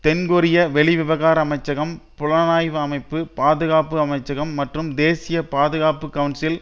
தென்கொரிய வெளிவிவகார அமைச்சகம் புலனாய்வு அமைப்பு பாதுகாப்பு அமைச்சகம் மற்றும் தேசிய பாதுகாப்பு கவுன்சில்